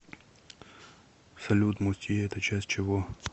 салют мустье это часть чего